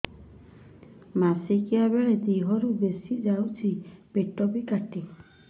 ମାସିକା ବେଳେ ଦିହରୁ ବେଶି ଯାଉଛି ପେଟ ବି କାଟେ